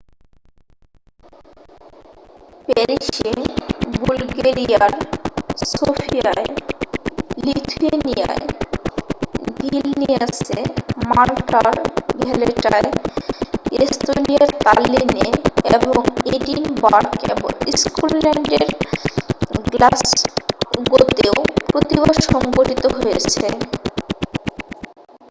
প্যারিসে বুলগেরিয়ার সোফিয়ায় লিথুয়েনিয়ার ভিলনিয়াসে মাল্টার ভ্যালেটায় এস্তোনিয়ার তাল্লিনে এবং এডিনবারগ এবং স্কটল্যান্ড এর গ্লাসগোতেও প্রতিবাদ সংঘঠিত হয়েছে